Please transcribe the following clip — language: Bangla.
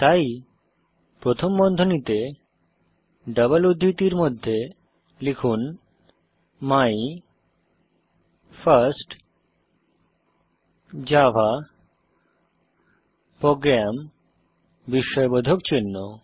তাই প্রথম বন্ধনীতে ডবল উদ্ধৃতির মধ্যে লিখুন মাই ফার্স্ট জাভা প্রোগ্রাম বিস্ময়বোধক চিহ্ন